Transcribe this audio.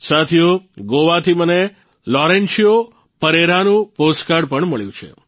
સાથીઓ ગોવાથી મને લોરેન્શિયો પરેરાનું પોસ્ટકાર્ડ મળ્યું છે